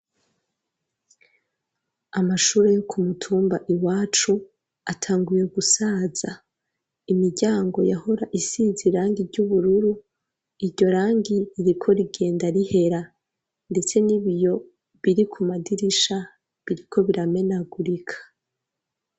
Amashuri yo kumutumba iwacu atanguye gusaza imiryango yahora isize irangi ry'ubururu iryo rangi ririko rigenda rihera, ndetse n'ibiyo biri ku madirisha biriko biramenagurika.